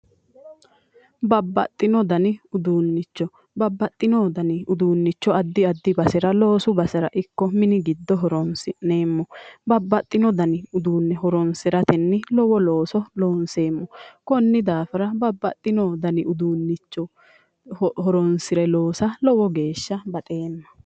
Babbaxino danni uduunnicho adaiadi basera mini gido horoonsi'neemmo babaxino danni uduunnicho horoonssira lowo geeshsha baxeem